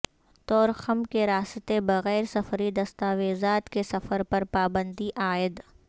طورخم کے راستے بغیر سفری دستاویزات کے سفر پر پابندی عائد